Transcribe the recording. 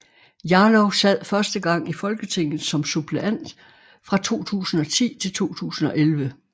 Jarlov sad første gang i Folketinget som suppleant fra 2010 til 2011